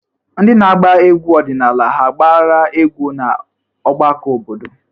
Ndị na-agba egwu ọdịnala hà agbara egwu na ọgbakọ obodo?